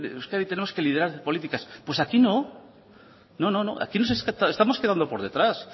euskadi tenemos que liderar políticas pues aquí no aquí nos estamos quedando por detrás